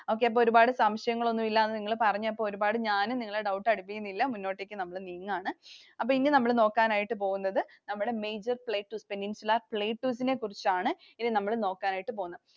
Okay. അപ്പൊ ഒരുപാട് സംശയങ്ങളൊന്നും ഇല്ല എന്ന് നിങ്ങൾ പറഞ്ഞപ്പോൾ ഒരുപാട് ഞാനും നിങ്ങളെ doubt അടിപ്പിക്കുന്നില്ല. മുന്നോട്ടേക്ക് നമ്മൾ നീങ്ങുകയാണ്. അപ്പോ ഇനി നമ്മൾ നോക്കാൻ ആയിട്ട് പോകുന്നത് നമ്മുടെ major places, Peninsular Plateaus നെ കുറിച്ചാണ് ഇനി നമ്മൾ നോക്കാനായിട്ടു പോകുന്നത്.